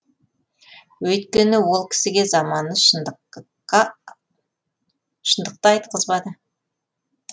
өйткені ол кісіге заманы шындыққа айтқызбады